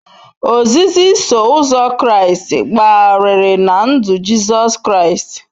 Ozizi Iso Ụzọ Kraịst gbagharịrị na ndụ Jizọs Kraịst.